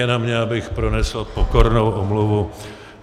Je na mně, abych pronesl pokornou omluvu.